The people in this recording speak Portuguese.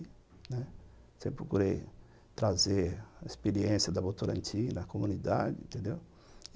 Sempre procurei trazer a experiência da Votorantim da comunidade, entendeu?